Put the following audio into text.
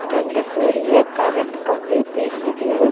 ரெண்டு பெரிய கரண்ட் கம்பி தெரியுது.